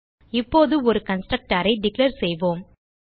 இப்போது ஒரு கன்ஸ்ட்ரக்டர் ஐ டிக்ளேர் செய்வோம்